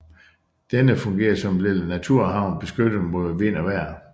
Denne fungerer som en lille naturhavn beskyttet mod vejr og vind